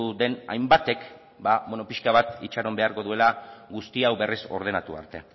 den hainbatek ba bueno pixka bat itxaron beharko duela guzti hau berriz ordenatu arte